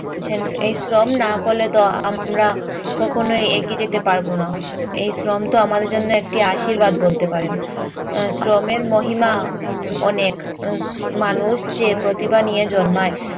এই শ্রম না করলে তো আমরা কখনোই এগিয়ে যেতে পারবো না। এই শ্রম তো আমাদের জন্য একটি আশির্বাদ বলতে পারেন। আহ শ্রমের মহিমা উম অনেক। মানুষ যে প্রতিভা নিয়ে জন্মায়